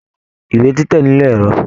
Ìwé títẹ nilo ẹrọ.